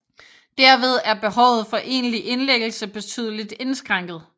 Derved er behovet for egentlig indlæggelse betydeligt indskrænket